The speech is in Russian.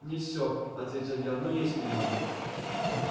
не все ответил я но есть немного